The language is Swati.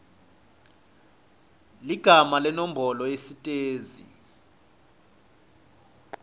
ligama nenombolo yesitezi